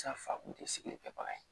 sigilen tɛ bagan ye